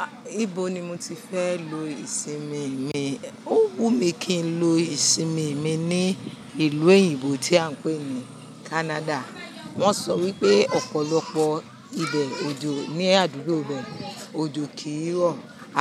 Ah, ibo ni mo ti fẹ́ lo ìsinmi mi? Ó wù mí kí n lo ìsinmi mi ní ìlú èyínbò tí à ń pè ní Canada. Wọ́n sọ wípé ọ̀pọ̀lọpọ̀ ibẹ̀ òjò ní àdúgbò bẹ́, òjò kìí rọ̀